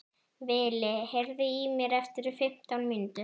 Vili, heyrðu í mér eftir fimmtán mínútur.